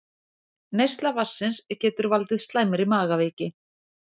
Neysla vatnsins getur valdið slæmri magaveiki